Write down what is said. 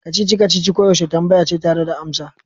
Kacici-kacici koyaushe tambaya ce tare da amsa.